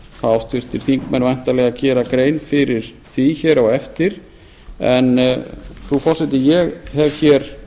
háttvirtir þingmenn væntanlega gera grein fyrir því á eftir frú forseti ég hef